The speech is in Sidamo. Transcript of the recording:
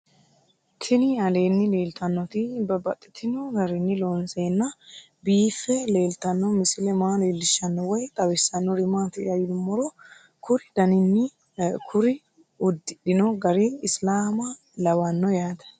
Tinni aleenni leelittannotti babaxxittinno garinni loonseenna biiffe leelittanno misile maa leelishshanno woy xawisannori maattiya yinummoro kuri udidhinno gari isilaamma lawanno yaatte